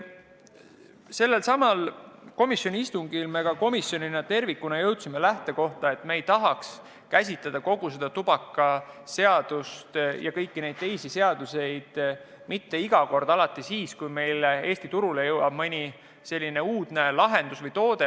Sellelsamal istungil me jõudsime komisjonina tervikuna lähtekohani, et me ei tahaks käsitleda tubakaseadust ja kõiki neid teisi seaduseid iga kord, kui Eesti turule jõuab mõni uudne lahendus või toode.